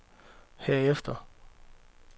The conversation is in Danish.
herefter